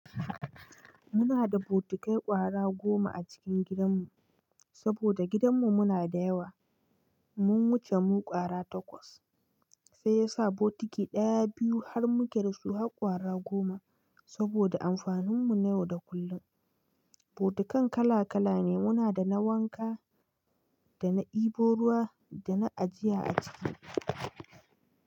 Muna da botikai ƙwara goma a cikin gidan mu saboda gidan mu muna da yawa. Mun wuce mu ƙwara takwas sai yasa botiki ɗaya, biyu har muka dasu har ƙwara goma saboda amfanin mu na yau da kullum. Botikan kala-kala ne muna da na wanka, da na ɗebo ruwa da na ajiya a ciki.